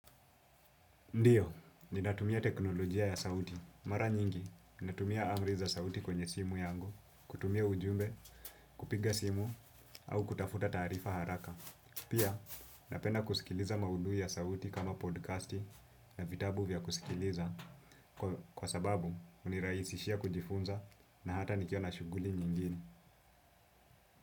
Ndiyo, ninatumia teknolojia ya sauti. Mara nyingi, ninatumia amri za sauti kwenye simu yangu, kutumia ujumbe, kupiga simu, au kutafuta taarifa haraka. Pia, napenda kusikiliza maudhui ya sauti kama podcasti na vitabu vya kusikiliza kwa sababu hunirahisishia kujifunza na hata nikiwa na shughuli nyingine.